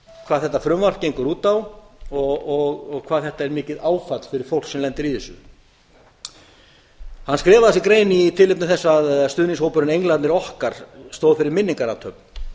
hvað þetta frumvarp gengur út á og hvað þetta er mikið áfall fyrir fólk sem lendir í þessu hann skrifaði þessa grein í tilefni þess að stuðningshópurinn englarnir okkar stóð fyrir minningarathöfn